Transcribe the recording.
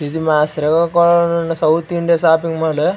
ఇది మా శ్రీకాకుళంలో ఉండే సౌత్ ఇండియా షాపింగ్ మాల్ .